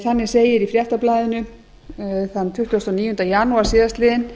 þannig segir í fréttablaðinu þann tuttugasta og níunda janúar síðastliðnum